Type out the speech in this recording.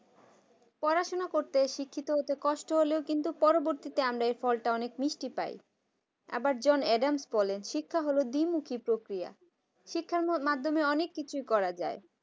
পড়াশোনা করতে শিক্ষিত হতে কষ্ট হলেও পরবর্তীতে এই ফলটা অনেক মিষ্টি পায় আবার john adam's বলেনশিক্ষা হলো দ্বিমুখী পক্রিয়া শিক্ষার মাধ্যমে অনেক কিছুই করা যায়।